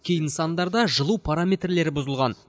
кей нысандарда жылу параметрлері бұзылған